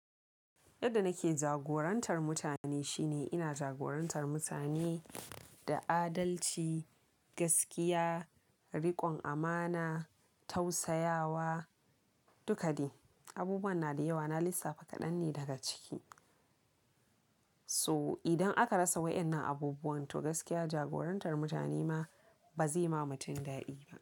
Yadda nake jagorantar mutane shine ina jagorantar mutane da adalci, gaskiya, rikon amana, tausayawa, duka shi. Abubuwa na da yawa, na lissafa kaɗan ne daga ciki. So idan aka rasa waɗannan abubuwan to gaskiya jagorantar mutane ma ba zai ma mutum daɗi ba.